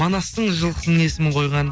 манастың жылқысының есімін қойған